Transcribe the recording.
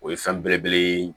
O ye fɛn belebele ye